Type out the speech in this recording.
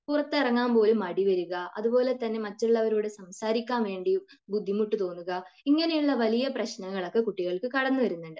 പുറത്തിറങ്ങാൻ പോലും മടിവരിക. അതുപോലെ തന്നെ മറ്റുള്ളോരോട് സംസാരിക്കാൻ വേണ്ടി ബുദ്ധിമുട്ട് തോന്നുക ഇങ്ങനെയുള്ള വലിയ പ്രശ്നങ്ങൾ ഒക്കെ കുട്ടികൾക്ക്കടന്നു വരുന്നുണ്ട്.